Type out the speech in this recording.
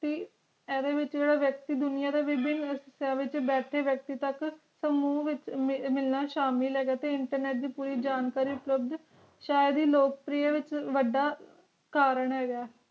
ਐਡੇ ਵਿਚ ਜੇਰਾ ਵਿਅਕਤੀ ਦੁਨੀਆ ਦਾ ਵਿਬਾਏਂ ਬੈਠ ਕੇ ਵਿਅਕਤੀ ਤਕ ਸਮੂ ਵਿਚ ਮਿਲਣਾ ਸ਼ਾਮਿਲ ਹੈਗਾ ਤੇ internet ਦੀ ਪੂਰੀ ਜਾਣਕਾਰੀ ਅਪਲੁਗ ਸ਼ਾਇਦ ਲੋਕ ਪ੍ਰਿਅ ਵਿਚ ਵਾਡਾ ਕਾਰਨ ਹੈਗਾ